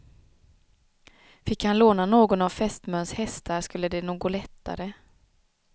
Fick han låna någon av fästmöns hästar skulle det nog gå lättare.